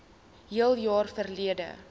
hele jaar verlede